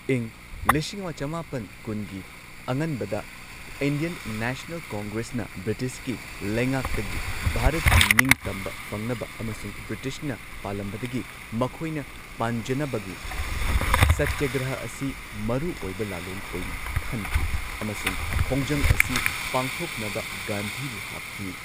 ꯏꯪ ꯂꯤꯁꯤꯡ ꯑꯃ ꯆꯃꯥꯄꯟ ꯀꯨꯟꯒꯤ ꯑꯉꯟꯕꯗ ꯏꯟꯗꯤꯌꯟ ꯅꯦꯁꯅꯦꯜ ꯀꯣꯡꯒ꯭ꯔꯦꯁꯅ ꯕ꯭ꯔꯤꯇꯤꯁꯀꯤ ꯂꯩꯉꯥꯛꯇꯒꯤ ꯚꯥꯔꯠꯀꯤ ꯅꯤꯡꯇꯝꯕ ꯐꯪꯅꯕ ꯑꯃꯁꯨꯡ ꯕ꯭ꯔꯤꯇꯤꯁꯅ ꯄꯥꯜꯂꯝꯕꯗꯒꯤ ꯃꯈꯣꯏꯅ ꯄꯥꯟꯖꯅꯕꯒꯤ ꯁꯇ꯭ꯌꯒ꯭ꯔꯍ ꯑꯁꯤ ꯃꯔꯨꯑꯣꯏꯕ ꯂꯥꯜꯂꯣꯡ ꯑꯣꯏꯅ ꯈꯟꯈꯤ ꯑꯃꯁꯨꯡ ꯈꯣꯡꯖꯪ ꯑꯁꯤ ꯄꯥꯡꯊꯣꯛꯅꯕ ꯒꯥꯟꯙꯤꯕꯨ ꯍꯥꯞꯈꯤ꯫